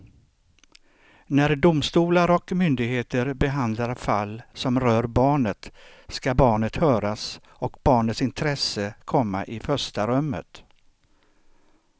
När domstolar och myndigheter behandlar fall som rör barnet ska barnet höras och barnets intresse komma i första rummet.